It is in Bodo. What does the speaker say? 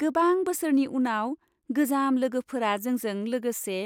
गोबां बोसोरनि उनाव गोजाम लोगोफोरा जोंजों लोगोसे